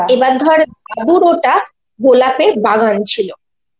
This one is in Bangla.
এবার ধর দাদুর ওটা গোলাপের বাগান ছিল,